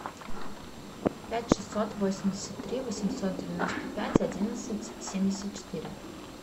пять шестьсот восемьдесят три восемьсот девяносто пять одиннадцать семьдесят четыре